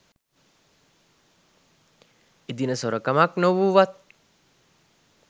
එදින සොරකමක් නොවූවත්